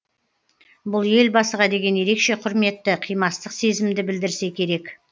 бұл елбасыға деген ерекше құрметті қимастық сезімді білдірсе керек